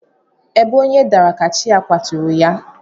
Ebe onye dara ka chi ya kwaturu ya.